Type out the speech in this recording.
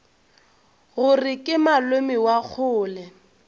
gore ke malome wa kgole